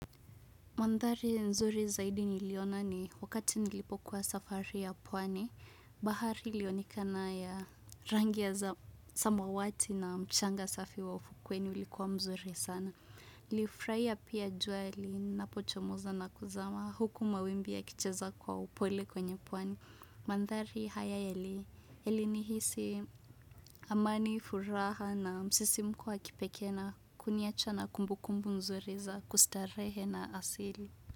Mandhari nzuri zaidi niliona ni wakati nilipokuwa safari ya pwani, bahari ilionekana ya rangi za samawati na mchanga safi wa ufukwe ni ulikuwa mzuri sana. Nilifurahia pia jua linapochomoza na kuzama huku mawimbi yakicheza kwa upole kwenye pwani. Mandhari haya yalinihisi amani furaha na msisimko wa kipekee na kuniacha na kumbukumbuku nzuri za kustarehe na ya asili.